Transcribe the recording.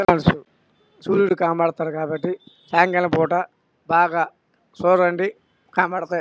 సూరుడు కనపడుతున్నాడు కాబట్టి సాయంకాలం పూట బాగా చూడండి కనపడుతాయి.